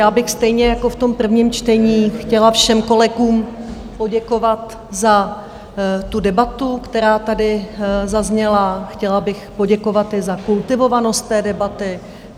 Já bych stejně jako v tom prvním čtení chtěla všem kolegům poděkovat za tu debatu, která tady zazněla, chtěla bych poděkovat i za kultivovanost té debaty.